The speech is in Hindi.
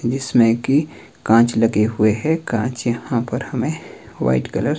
जिसमें की कांच लगे हुए हैं कांच यहां पर हमें व्हाइट कलर --